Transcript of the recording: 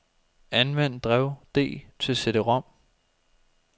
Anvend drev D til cd-rom.